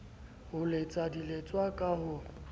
ho letsa diletswa ka ho